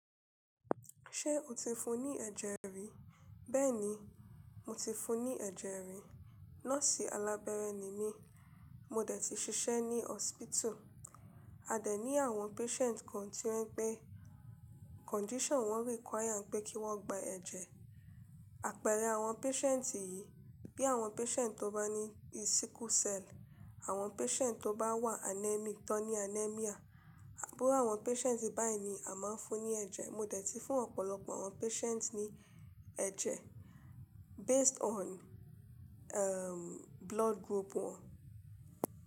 Ṣé o ti fún ní ẹ̀jẹ̀ rí? Bẹ́ẹ̀ni, mo ti fún ní ẹ̀jẹ̀ rí. Nọ́ọ̀sì alábẹ́rẹ́ ni mí, mo dẹ̀ ti ṣiṣẹ́ ní hospital, a dẹ̀ ní àwọn patient kan tí wọ́n pé condition wọn require pé kí wọ́n gba ẹ̀jẹ̀. Àpẹẹrẹ àwọn patient yìí, bí àwọn patient tó bá ní sickle cell, àwọn patient tó bá wà anemic tó ní anaemia. Àbúrú àwọn patient báyìí ni a máa ń fún ní ẹ̀jẹ̀. Mo dẹ̀ ti fún ọ̀pọ̀lọpọ̀ àwọn patient ní ẹ̀jẹ̀ based on, blood group wọn.